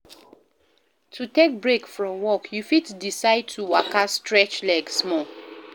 To take break from work you fit decide to waka stretch leg small